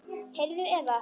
Heyrðu, Eva.